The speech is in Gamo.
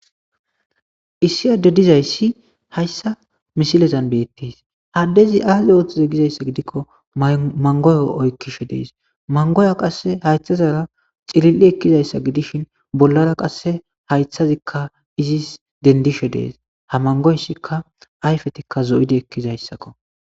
Issi adde dizayssi hayssa misilezan beettes haddezi aazi ooththize gizayssa gidikko mangoyo oykkishe dees mangoya qae haythazara xilil'i ekkizayssa gidishin bollara qasse haythazikka izis dendishe dees ha mangoysikka ayfetikka zo'idi ekkizayssakko.